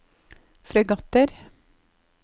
fregatter